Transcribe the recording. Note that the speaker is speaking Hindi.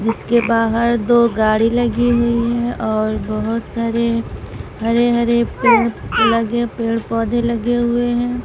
इसके बाहर दो गाड़ी लगी हुई हैं और बहुत सारे हरे हरे पेड़ लगे पेड़ पौधे लगे हुए हैं।